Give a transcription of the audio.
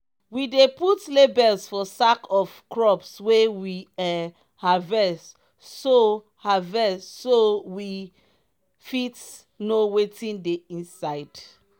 we dey put labels for sack of crops wey we um harvest so harvest so we fit know wetin dey inside.